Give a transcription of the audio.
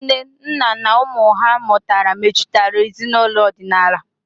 Nne, nna, na ụmụ ha mụtara mejutara ezinaụlọ ọdịnala.